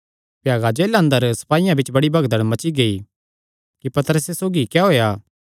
भ्यागा जेला अंदर सपाईयां बिच्च बड़ी भगदड़ मची गेई कि पतरसे सौगी क्या होएया